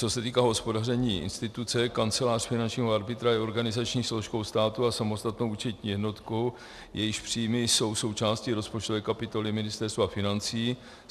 Co se týká hospodaření instituce, Kancelář finančního arbitra je organizační složkou státu a samostatnou účetní jednotkou, jejíž příjmy jsou součástí rozpočtové kapitoly Ministerstva financí.